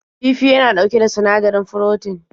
Kifi yana ɗauke da sinadari froten.